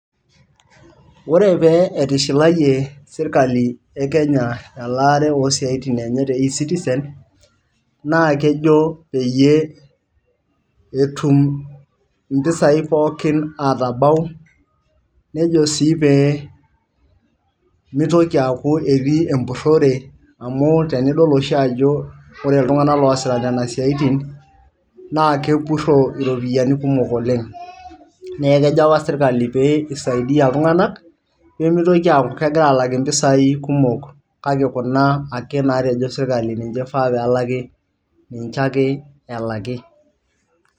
Ore pee etishilaie serikali ee Kenya elare osiatin enye te ecitizen na kejo peyie etum impesai pookin atabau nejo sii pee mitoki aku keeti empurore amu tenidol oshi ajo ore iltungana loosita nena siatin na kepuro iropiani kumok oleng neku kejo apa serikali petum aisiadia iltungan pemitoki aku kegira alak impesai kumok kake kuna ake natejo serikali ninche efaa pelaki ninche ake elaki